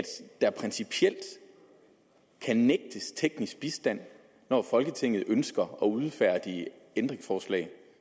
der principielt kan nægtes teknisk bistand når folketinget ønsker at udfærdige ændringsforslag